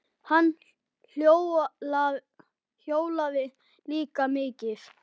Hann hjólaði líka mikið.